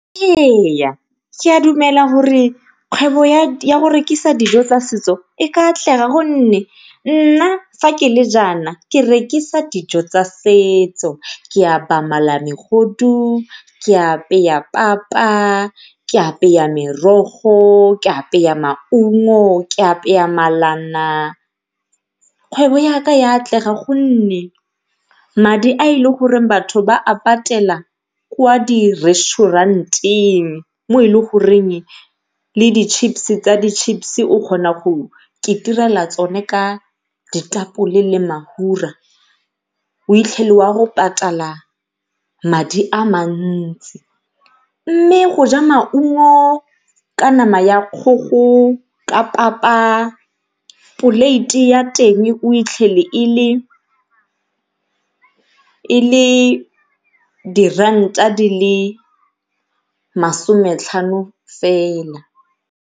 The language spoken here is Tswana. Eya, ke a dumela gore kgwebo ya go rekisa dijo tsa setso e ka atlega gonne nna fa kele jaana ke rekisa dijo tsa setso. Ke mala megodu, ke papa, ke merogo, ke maungo, ke malana, kgwebo yaka ya atlega gonne, madi a e le goreng batho ba a patela ko di-resturent-eng mo e le goreng le di-chips tsa di-chips o kgona go tsone ka ditapole le o itlhele o ya go patala madi a mantsi. Mme go ja maungo ka nama ya kgogo ka papa, poleiti ya teng o itlhela e le diranta di le masometlhano fela.